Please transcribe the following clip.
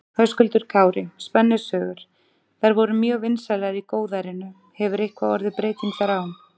Höskuldur Kári: Spennusögur, þær voru mjög vinsælar í góðærinu, hefur eitthvað orðið breyting þar á?